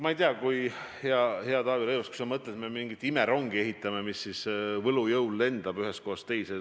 Ma ei tea, hea Taavi Rõivas, kas sa mõtled, et me ehitame mingit imerongi, mis võlujõul lendab ühest kohast teise.